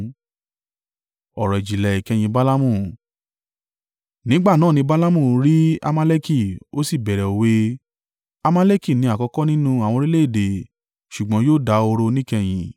Nígbà náà ni Balaamu rí Amaleki ó sì bẹ̀rẹ̀ òwe: “Amaleki ni àkọ́kọ́ nínú àwọn orílẹ̀-èdè, ṣùgbọ́n yóò dahoro níkẹyìn.”